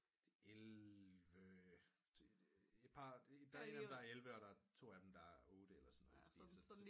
De er elleve der er en der er elleve og der er to af dem der er otte eller sådan noget